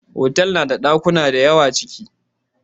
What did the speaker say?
Otal nada ɗakuna dayawa aciki